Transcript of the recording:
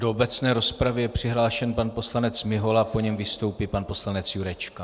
Do obecné rozpravy je přihlášen pan poslanec Mihola, po něm vystoupí pan poslanec Jurečka.